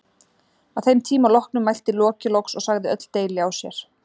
Að þeim tíma loknum mælti Loki loks og sagði öll deili á sér.